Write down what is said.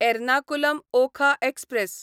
Ernakulam Okha express